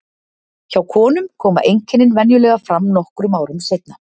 Hjá konum koma einkennin venjulega fram nokkrum árum seinna.